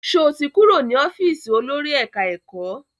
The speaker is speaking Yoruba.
Sọ ti kúrò ní ọ́fíìsì olórí ẹ̀ká-ẹ̀kọ́?